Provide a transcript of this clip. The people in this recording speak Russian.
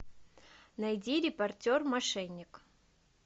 найди репортер мошенник